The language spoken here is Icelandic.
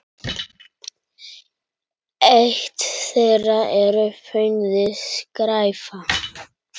Eitt þeirra er fnauði: skræfa.